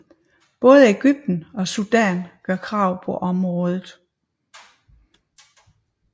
Både Egypten og Sudan gør krav på området